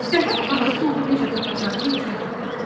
Səhər anası onu necə tapacağını izah etdi.